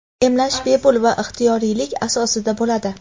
emlash bepul va ixtiyoriylik asosida bo‘ladi.